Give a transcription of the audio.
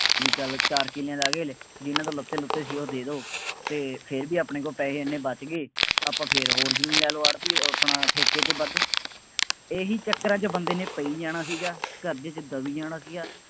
ਬਈ ਚਾਰ ਕਿੱਲਿਆਂ ਦੇ ਆ ਗਏ ਹਾਲੇ ਜਿੰਨਾ ਤੋਂ ਲਿਤੇ ਲੀਤੋ ਸੀ ਉਹ ਦੇ ਦਿਉ ਅਤੇ ਫੇਰ ਵੀ ਆਪਣੇ ਕੋਲ ਪੈਸੇ ਐਨੇ ਬੱਚ ਗਏ। ਆਪਾਂ ਫੇਰ ਹੋਰ ਜ਼ਮੀਨ ਲੈ ਲਉ, ਆੜ੍ਹਤੀਏ ਅਹ ਆਪਣਾ ਠੇਕੇ ਤੇ ਵੱਧ, ਇਹੀਂ ਚੱਕਰਾਂ ਚ ਬੰਦੇ ਨੇ ਪਈ ਜਾਣਾ ਸੀਗਾ, ਕਰਜ਼ੇ ਚ ਦਬੀ ਜਾਣਾ ਸੀਗਾ।